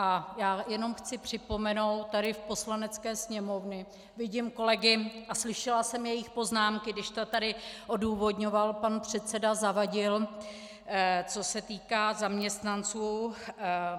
A já jenom chci připomenout, tady v Poslanecké sněmovně vidím kolegy a slyšela jsem jejich poznámky, když to tady odůvodňoval pan předseda Zavadil, co se týká zaměstnanců.